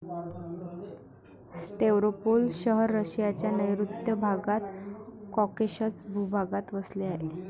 Stavropol शहर रशियाच्या नैऋत्य भागात कॉकेशस भूभागात वसले आहे.